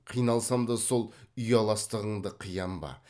қиналсам да сол ұяластығыңды қиям ба